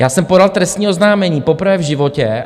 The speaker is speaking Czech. Já jsem podal trestní oznámení poprvé v životě.